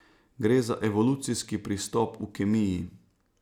Gre za evolucijski pristop v kemiji.